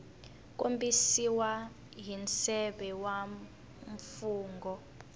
kombisiwa hi nseve wa mfungho